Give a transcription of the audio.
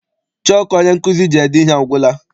Chọku onye nkụzi ji ede ihe agwụla.